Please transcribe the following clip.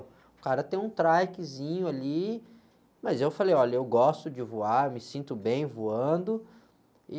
O cara tem um trikezinho ali, mas eu falei, olha, eu gosto de voar, me sinto bem voando e...